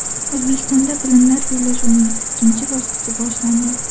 O‘zbekistonda bilimlar bellashuvining ikkinchi bosqichi boshlandi.